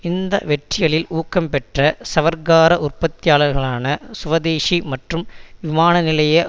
இந்த வெற்றிகளில் ஊக்கம் பெற்ற சவர்க்கார உற்பத்தியாளர்களான சுவதேஷி மற்றும் விமான நிலைய